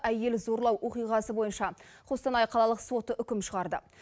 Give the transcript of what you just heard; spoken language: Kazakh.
әйел зорлау оқиғасы бойынша қостанай қалалық соты үкім шығарды